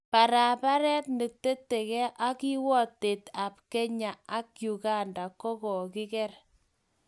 Paraparet neteteke ak kiwatet ab Kenya ak Uganda kokokeker.